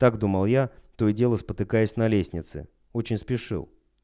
так думал я то и дело спотыкаясь на лестнице очень спешил